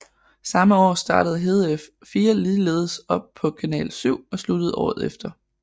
Samme år startede Hedef 4 ligeledes op på Kanal 7 og sluttede året efter